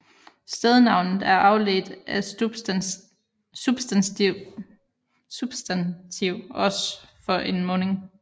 Stednavnet er afledt af substantiv os for en munding